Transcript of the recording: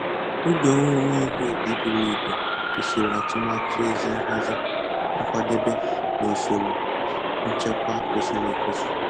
Oge owuwe ihe ubi buru ibu kwesịrị atụmatụ ezi nhazi, nkwadebe, na usoro nchekwa kwesịrị ekwesị.